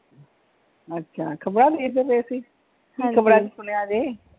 ਅੱਛਾ ਖਬਰਾਂ ਵੇਖਦੇ ਪਾਏ ਸੀ, ਕੀ ਖ਼ਬਰਾਂ ਚ ਸੁਣਿਆ ਜੇ?